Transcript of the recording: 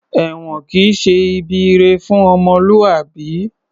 Èwọ̀n kìí ṣe ibi ire fún ọmọlúwàbí